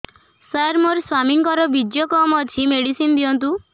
ସାର ମୋର ସ୍ୱାମୀଙ୍କର ବୀର୍ଯ୍ୟ କମ ଅଛି ମେଡିସିନ ଦିଅନ୍ତୁ